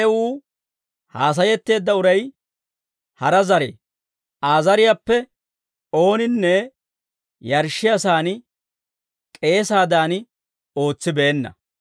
Ha yewuu haasayetteedda uray hara zarii; Aa zariyaappe ooninne yarshshiyaasaan k'eesaadan ootsibeenna.